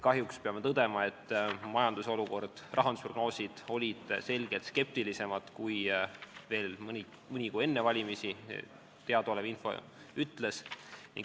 Kahjuks peame tõdema, et rahandusprognoosid olid selgelt skeptilisemad, kui teadaolev info veel mõni kuu enne valimisi ütles.